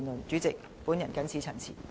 主席，本人謹此陳辭。